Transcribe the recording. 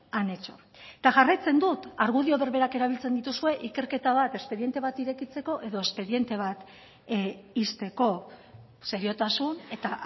han hecho eta jarraitzen dut argudio berberak erabiltzen dituzue ikerketa bat espediente bat irekitzeko edo espediente bat ixteko seriotasun eta